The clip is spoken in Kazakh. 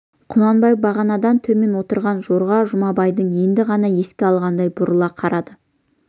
құнанбай бағанадан төмен отырған жорға жұмабайды енді ғана еске алғандай бұрыла қарады